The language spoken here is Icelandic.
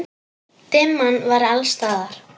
Dimman var alls staðar.